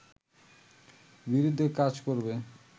বিরুদ্ধে কাজ করবে